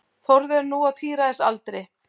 Þórður er nú á tíræðisaldri.